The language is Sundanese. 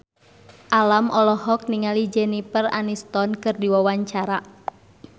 Alam olohok ningali Jennifer Aniston keur diwawancara